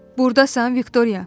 Buradasan, Viktoriya?